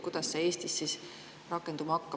Kuidas see Eestis rakenduma hakkaks?